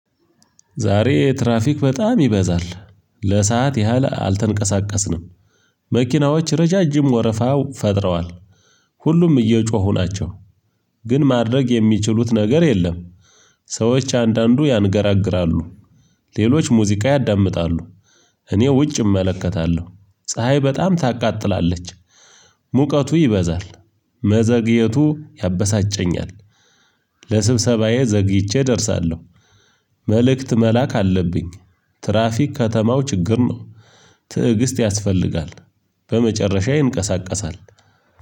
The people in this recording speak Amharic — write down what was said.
ዛሬ ትራፊክ በጣም ይበዛል ለሰአት ያህል አልተንቀሳቀስንም። መኪናዎች ረዣዥም ወረፋ ፈጥረዋል። ሁሉም እየጮሁ ናቸው። ግን ማድረግ የሚችሉት ነገር የለም። ሰዎች አንዳንዱ ያንገራግራሉ። ሌሎች ሙዚቃ ያዳምጣሉ። እኔ ውጭ እመለከታለሁ ፀሀይ በጣም ታቃጥላለች። ሙቀቱ ይበዛል መዘግየቱ ያበሳጨኛል። ለስብሰባዬ ዘግይቼ እደርሳለሁ። መልእክት መላክ አለብኝ። ትራፊክ ከተማው ችግር ነው። ትዕግስት ያስፈልጋል። በመጨረሻ ይንቀሳቀሳል።